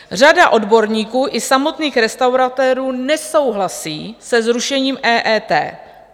Řada odborníků i samotných restauratérů nesouhlasí se zrušením EET.